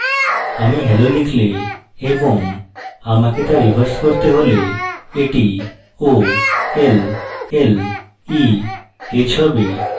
আমি hello লিখলে এবং আমাকে so reverse করতে হলে এটি olleh হবে